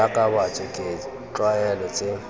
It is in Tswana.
jaaka batho ke ditlwaelo tse